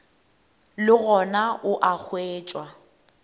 le gona o a hwetšwa